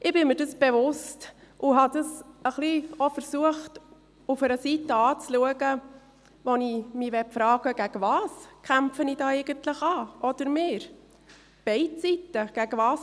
Ich bin mir dessen bewusst und habe es auch von einer Seite anzuschauen versucht, die mich zur Frage veranlasst, wogegen ich oder wir, beide Seiten, eigentlich ankämpfen.